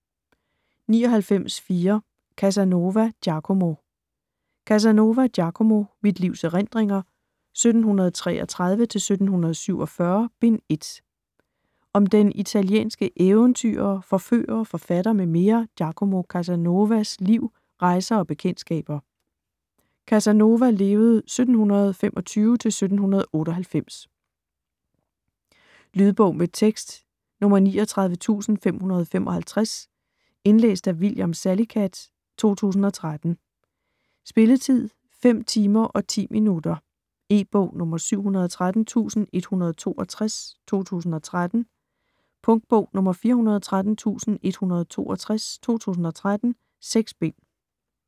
99.4 Casanova, Giacomo Casanova, Giacomo: Mit livs erindringer: 1733-1747: Bind 1 Om den italienske eventyrer, forfører, forfatter m.m. Giacomo Casanovas (1725-1798) liv, rejser og bekendtskaber. Lydbog med tekst 39555 Indlæst af William Salicath, 2013. Spilletid: 5 timer, 10 minutter. E-bog 713162 2013. Punktbog 413162 2013. 6 bind.